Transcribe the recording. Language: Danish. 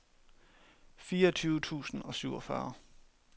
fireogtyve tusind og syvogfyrre